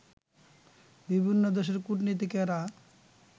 বিভিন্ন দেশের কূটনীতিকেরা